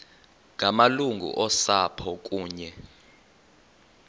ngamalungu osapho kunye